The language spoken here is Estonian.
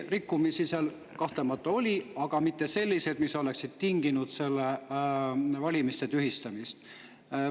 Rikkumisi seal kahtlemata oli, aga mitte selliseid, mis oleksid tinginud nende valimiste tühistamise.